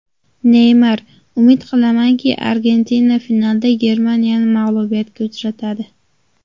Neymar: Umid qilamanki, Argentina finalda Germaniyani mag‘lubiyatga uchratadi.